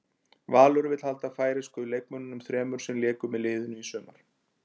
Valur vill halda færeysku leikmönnunum þremur sem léku með liðinu í sumar.